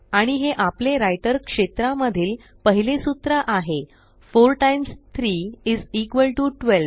आणि हे आपले राइटर क्षेत्रा मधील पहिले सूत्र आहे 4 टाईम्स 3 इस इक्वॉल टीओ 12